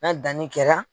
N'a danni kɛra